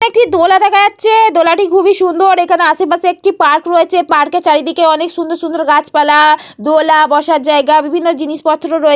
একটি দোলা দেখা যাচ্ছে। দোলাটি খুবই সুন্দর। এখানে আশেপাশে একটি পার্ক রয়েছে। পার্ক -এর চারিদিকে সুন্দর সুন্দর গাছ পালা দোলা বাসর জায়গা বিভিন্ন জিনিস পত্র রয়ে --